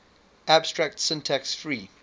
abstract syntax tree